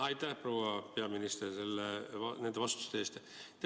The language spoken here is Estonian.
Aitäh, proua peaminister, nende vastuste eest!